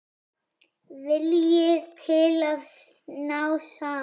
Vilji til að ná saman.